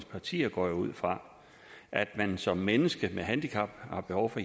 partier går jeg ud fra at når man som menneske med handicap har behov for